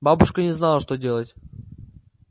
бабушка не знала что делать